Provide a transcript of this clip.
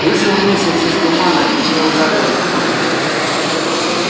вышел месяц из тумана и не ударил лицом в грязь